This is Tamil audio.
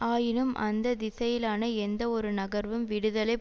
ஆயினும் அந்த திசையிலான எந்தவொரு நகர்வும் விடுதலை